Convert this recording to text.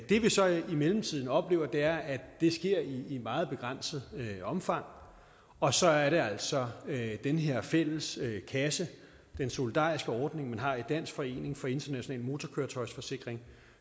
det vi så i mellemtiden oplever er at det sker i et meget begrænset omfang og så er det altså at den her fælles kasse den solidariske ordning man har i dansk forening for international motorkøretøjsforsikring